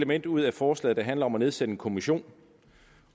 element ud af forslaget der handler om at nedsætte en kommission